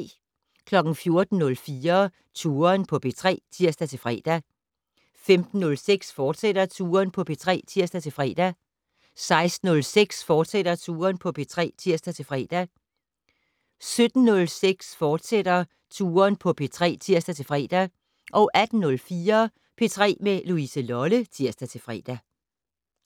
14:04: Touren på P3 (tir-fre) 15:06: Touren på P3, fortsat (tir-fre) 16:06: Touren på P3, fortsat (tir-fre) 17:06: Touren på P3, fortsat (tir-fre) 18:04: P3 med Louise Lolle (tir-fre)